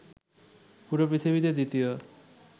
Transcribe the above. পুরো পৃথিবীতে দ্বিতীয়